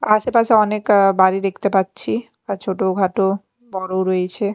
আশেপাশে অনেক আ বাড়ি দেখতে পাচ্ছি ছোটখাটো বড় রয়েছে।